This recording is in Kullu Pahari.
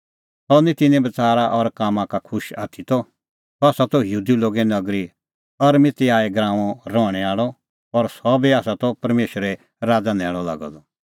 सह निं तिन्नें बच़ारा और कामां का खुश आथी त सह आसा त यहूदी लोगे नगरी अरमतियाह गराऊंओ रहणैं आल़अ और सह बी आसा त परमेशरे राज़ा न्हैल़अ लागअ द